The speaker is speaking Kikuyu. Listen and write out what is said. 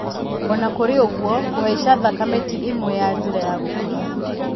Oonakũrĩ ũguo, kũhaica thakame tĩ ĩmwe ya njĩra ya gũkũra